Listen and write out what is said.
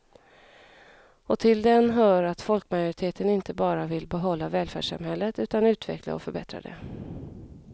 Och till den hör att folkmajoriteten inte bara vill behålla välfärdssamhället utan utveckla och förbättra det.